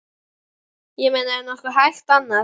Ég meina er nokkuð hægt annað?